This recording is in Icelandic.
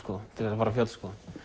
til þess að fara á fjöll